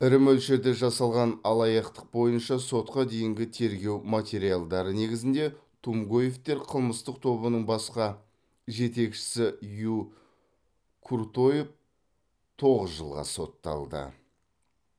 ірі мөлшерде жасалған алаяқтық бойынша сотқа дейінгі тергеу материалдары негізінде тумгоевтер қылмыстық тобының басқа жетекшісі ю куртоев тоғыз жылға сотталды